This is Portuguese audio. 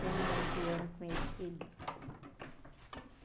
Terminamos o ano com ele feliz.